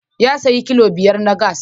Ya sayo kilo biyar na gas.